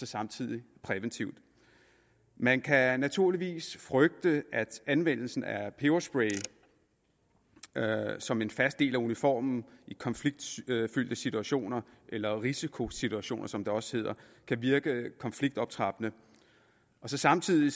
samtidig præventivt man kan naturligvis frygte at anvendelse af peberspray som en fast del af uniformen i konfliktfyldte situationer eller risikosituationer som det også hedder kan virke konfliktoptrappende samtidig